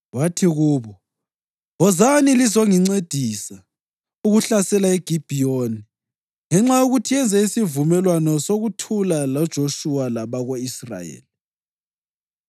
Wathi kubo, “Wozani lizongincedisa ukuhlasela iGibhiyoni ngenxa yokuthi yenze isivumelwano sokuthula loJoshuwa labako-Israyeli.”